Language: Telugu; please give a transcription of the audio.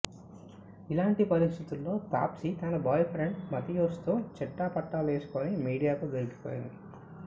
ఇలాంటి పరిస్థితుల్లో తాప్సీ తన బాయ్ఫ్రెండ్ మాథియాస్తో చెట్టాపట్టాలేసుకొని మీడియాకు దొరికిపోయింది